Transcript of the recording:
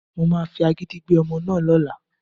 Mo máa fi agídí gbé ọmọ náà lọ́la